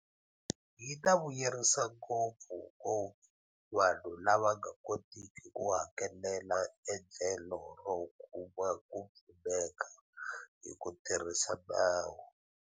Yi ta vuyerisa ngopfungopfu vanhu lava nga kotiki ku hakelela endlelo ro kuma ku pfuneka hi ku tirhisa nawu.